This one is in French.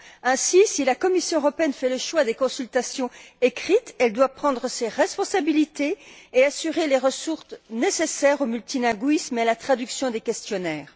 Ainsi, si la Commission fait le choix des consultations écrites, elle doit prendre ses responsabilités et assurer les ressources nécessaires au multilinguisme et à la traduction des questionnaires.